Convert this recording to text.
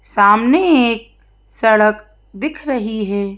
सामने एक सड़क दिख रही है।